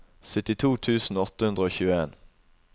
syttito tusen åtte hundre og tjueen